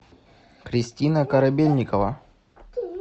кристина корабельникова